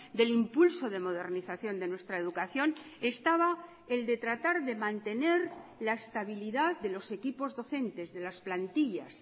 del impulso de modernización de nuestra educación estaba el de tratar de mantener la estabilidad de los equipos docentes de las plantillas